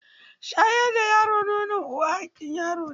Shayar da yaro nonon uwa haƙƙin yaro ne.